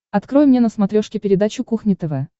открой мне на смотрешке передачу кухня тв